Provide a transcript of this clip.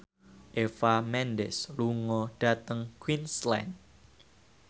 Eva Mendes lunga dhateng Queensland